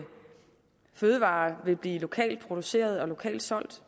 fødevarer vil blive lokalt producerede og lokalt solgt